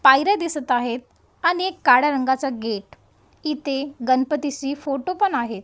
पायऱ्या दिसत आहेत आणि एक काड्या रंगाचा गेट इथे गणपती शी फोटो पण आहे.